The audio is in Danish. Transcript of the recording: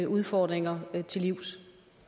udfordringer til livs